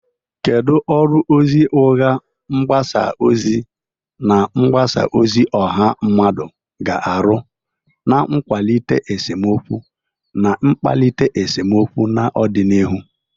Kedu ọrụ ozi ụgha, mgbasa ozi, na mgbasa ozi ọha mmadụ ga-arụ n'ịkwalite esemokwu na ịkpalite esemokwu n'ọdịnihu?